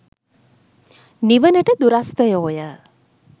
නිවනට දුරස්ථයෝ ය.